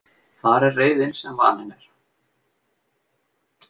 Þar er reiðin sem vanin er.